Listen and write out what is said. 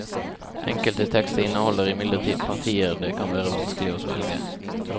Enkelte tekster inneholder imidlertid partier det kan være vanskelig å svelge.